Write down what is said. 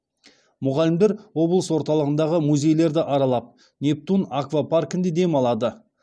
мұғалімдер облыс орталығындағы музейлерді аралап нептун аквапаркінде дем алады